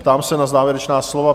Ptám se na závěrečná slova.